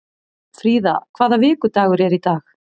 Fríða, hvaða vikudagur er í dag?